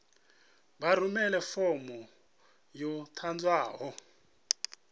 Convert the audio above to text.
vha rumele fomo yo ḓadzwaho